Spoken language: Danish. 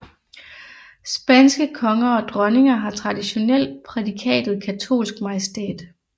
Spanske konger og dronninger har traditionelt prædikatet katolsk majestæt